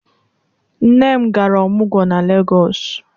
Nne m gara ọmụgwọ na Legọs.